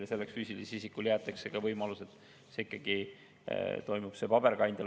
Ja selleks füüsilise isiku puhul jäetakse võimalus, et see suhtlus ikkagi toimub ka paberkandjal.